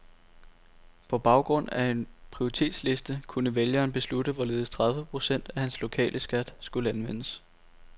På baggrund af en prioritetsliste kunne vælgeren beslutte hvorledes tredive procent af hans lokale skat skulle anvendes.